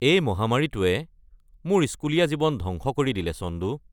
এই মহামাৰীটোয়ে মোৰ স্কুলীয়া জীৱন ধ্বংস কৰি দিলে চন্দু।